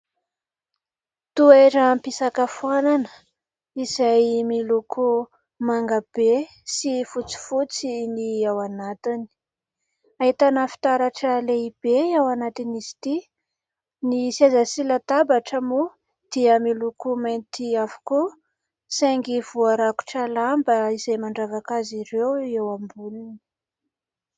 Toeram-pisakafoanana izay miloko mangabe sy fotsifotsy ny ao anatiny. Ahitana fitaratra lehibe ao anatin'izy ity. Ny seza sy latabatra moa dia miloko mainty avokoa, saingy voarakotra lamba izay mandravaka azy ireo eo amboniny.